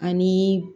Ani